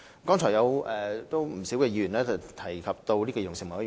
剛才有不少議員提及兒童事務委員會。